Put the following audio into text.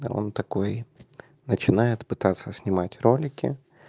да он такой начинает пытаться снимать ролики